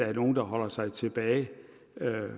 er nogen der holder sig tilbage